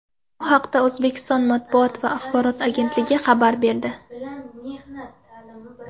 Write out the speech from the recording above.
Bu haqda O‘zbekiston Matbuot va axborot agentligi xabar berdi .